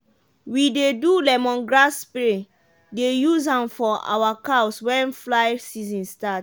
we dey do lemongrass spray dey use am for our cows wen fly season start.